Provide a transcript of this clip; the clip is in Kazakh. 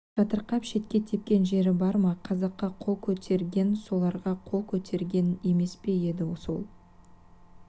жатырқап шетке тепкен жері бар ма қазаққа қол көтерген соларға қол көтерген емес пе енді сол